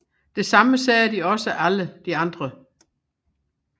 Det samme sagde også alle de andre